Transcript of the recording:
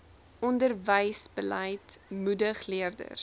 onderwysbeleid moedig leerders